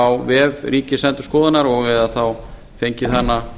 á vef ríkisendurskoðunar eða þá fengið hana